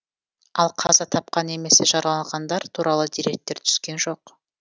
ал қаза тапқан немесе жараланғандар туралы деректер түскен жоқ